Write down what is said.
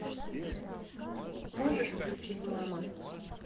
можешь включить мама